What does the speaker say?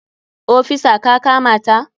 Ofisa ka kamata!